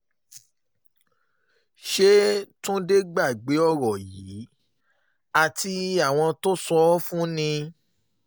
ṣe túnde gbàgbé ọ̀rọ̀ yìí àti àwọn tó sọ ọ́ fún ni